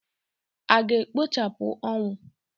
A ga-ekpochapụ ọnwụ?